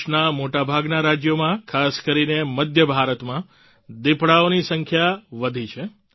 દેશના મોટાભાગના રાજ્યોમાં ખાસ કરીને મધ્ય ભારતમાં દિપડાઓની સંખ્યા વધી છે